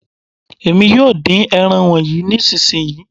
Èmi yóò dín ẹran wọnyí nísìnsisìyí.